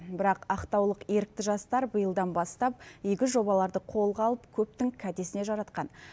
бірақ ақтаулық ерікті жастар биылдан бастап игі жобаларды қолға алып көптің кәдесіне жаратқан